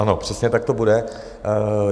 Ano, přesně tak to bude.